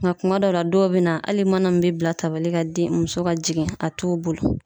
Nga kuma dɔw la dɔw be na ali mana min be bila tabali kan den muso ka jigin a t'u bolo